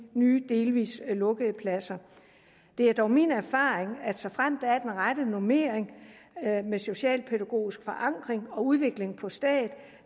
nye delvis lukkede pladser det er dog min erfaring at såfremt der er den rette normering med socialpædagogisk forankring og udvikling på stedet